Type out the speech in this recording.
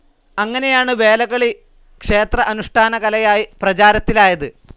അങ്ങനെയാണ് വേലകളി ക്ഷേത്ര അനുഷ്ഠാനകലയായി പ്രചാരത്തിലായത്.